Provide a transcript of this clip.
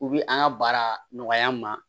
U bi an ka baara nɔgɔya an ma